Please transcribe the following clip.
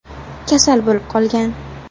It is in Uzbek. kasal bo‘lib qolgan.